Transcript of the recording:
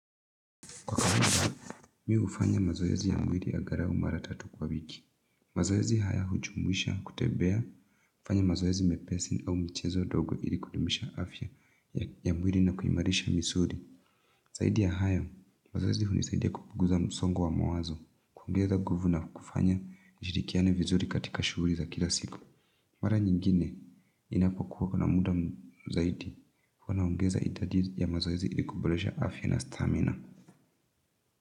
Mi hufanya mazoezi ya mwili angalau mara tatu kwa wiki. Mazoezi haya hujumuisha kutembea, kufanya mazoezi mepesi au michezo ndogo ili kudumisha afya ya mwili na kuimarisha misuli. Zaidi ya hayo, mazoezi hunisaidia kupunguza msongo wa mawazo, kuongeza nguvu na kufanya nishirikiane vizuri katika shughuli za kila siku. Mara nyingine ninapokuwa kuna muda zaidi, huwa naongeza idadi ya mazoezi ili kuboresha afya na stamina.